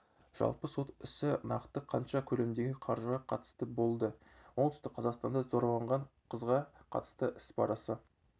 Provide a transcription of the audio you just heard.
жалпы сот ісі нақты қанша көлемдегі қаржыға қатысты болды оңтүстік қазақстанда зорланған қызға қатысты іс барысы